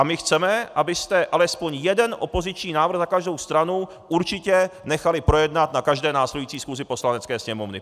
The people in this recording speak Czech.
A my chceme, abyste alespoň jeden opoziční návrh za každou stranu určitě nechali projednat na každé následující schůzi Poslanecké sněmovny.